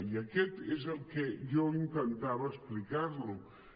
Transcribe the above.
i això és el que jo intentava explicar li